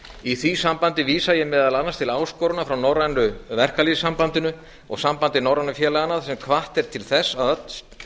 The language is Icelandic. í því sambandi vísa ég meðal annars til áskorunar frá norrænu verkalýðssambandinu og sambandi norrænu félaganna sem hvatt er til þess að